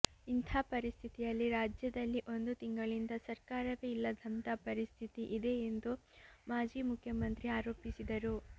ಇಂಥ ಪರಿಸ್ಥಿತಿಯಲ್ಲಿ ರಾಜ್ಯದಲ್ಲಿ ಒಂದು ತಿಂಗಳಿಂದ ಸರ್ಕಾರವೇ ಇಲ್ಲದಂಥ ಪರಿಸ್ಥಿತಿ ಇದೆ ಎಂದು ಮಾಜಿ ಮುಖ್ಯಮಂತ್ರಿ ಆರೋಪಿಸಿದರು